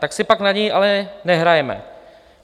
Tak si pak na něj ale nehrajme.